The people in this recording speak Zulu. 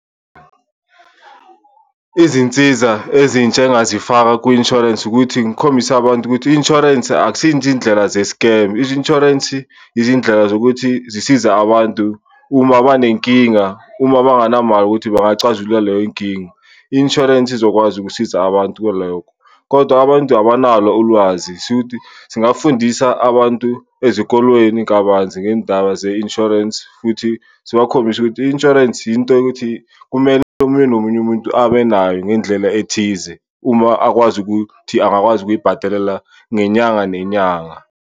Izinsiza ezintsha engingazifaka kwi-insurance ukuthi ngikhombise abantu ukuthi i-insurance akusiyi nje iy'ndlela ze-scam. I-insurance izindlela zokuthi zisiza abantu uma banenkinga, uma banganamali ukuthi bangacazulula leyo nkinga, i-insurance izokwazi ukusiza abantu kulokho kodwa abantu abanalo ulwazi. Shuthi singafundisa abantu ezikolweni kabanzi ngey'ndaba ze-insurance futhi sibakhombise ukuthi i-insurance yinto yokuthi kumele omunye nomunye umuntu abe nayo ngendlela ethize uma akwazi ukuthi angakwazi ukuyibhatalela ngenyanga nenyanga.